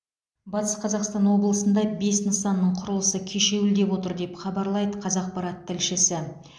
батыс қазақстан облысында бес нысанның құрылысы кешеуілдеп отыр деп хабарлайды қазақпарат тілшісі